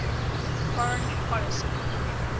foreign policy